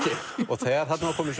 þegar þarna var komið